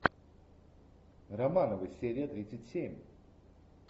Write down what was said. романовы серия тридцать семь